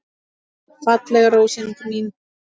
Fallega rósin mín.